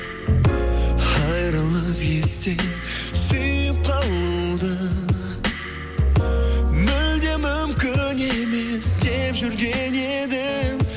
айрылып естен сүйіп қалуды мүлде мүмкін емес деп жүрген едім